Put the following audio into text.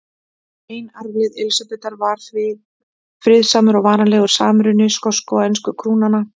Ein arfleifð Elísabetar var því friðsamur og varanlegur samruni skosku og ensku krúnanna.